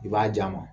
I b'a di a ma